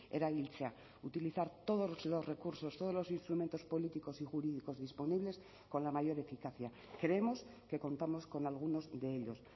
erabiltzea utilizar todos los recursos todos los instrumentos políticos y jurídicos disponibles con la mayor eficacia creemos que contamos con algunos de ellos